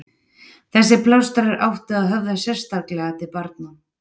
þessir plástrar áttu að höfða sérstaklega til barna